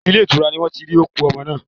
Ilé ìtura ni wọ́n ti rí òkú ọmọ náà.